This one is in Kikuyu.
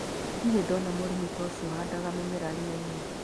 Ndirĩ ndona mũrĩmi ta ũcio ũhandaga mĩmera rĩrainĩ.